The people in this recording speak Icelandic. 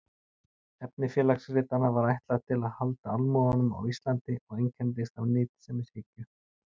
Efni Félagsritanna var ætlað til handa almúganum á Íslandi og einkenndist af nytsemishyggju.